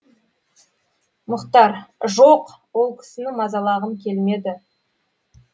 мұхтар жоқ ол кісіні мазалағым келмеді